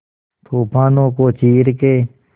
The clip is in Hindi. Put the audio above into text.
तूफानों को चीर के